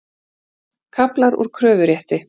Kaflar úr kröfurétti.